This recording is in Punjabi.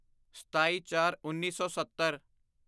ਸਤਾਈਚਾਰਉੱਨੀ ਸੌ ਸੱਤਰ